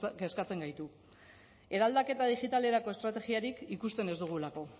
kezkatzen gaitu eraldaketa digitalerako estrategiarik ikusten ez dugulako